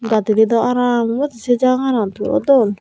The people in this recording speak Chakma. gadidey dow araam obw sei jaganot puro dol.